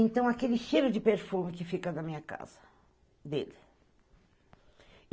Então, aquele cheiro de perfume que fica na minha casa, dele.